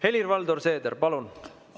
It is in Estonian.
Helir-Valdor Seeder, palun!